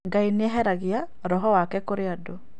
Ngai nĩeheragia roho wake kũrĩ andũ